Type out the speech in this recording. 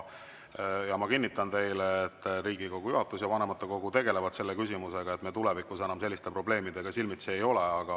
Ma kinnitan teile, et Riigikogu juhatus ja vanematekogu tegelevad selle küsimusega, et me tulevikus enam selliste probleemidega silmitsi ei oleks.